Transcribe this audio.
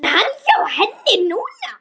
Er hann hjá henni núna?